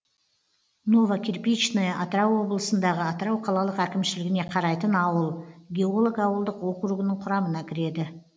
новокирпичное атырау облысындағы атырау қалалық әкімшілігіне қарайтын ауыл геолог ауылдық округінің құрамына кіреді